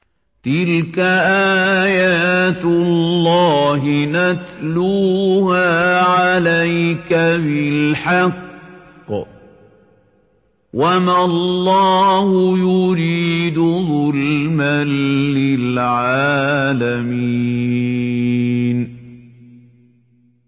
تِلْكَ آيَاتُ اللَّهِ نَتْلُوهَا عَلَيْكَ بِالْحَقِّ ۗ وَمَا اللَّهُ يُرِيدُ ظُلْمًا لِّلْعَالَمِينَ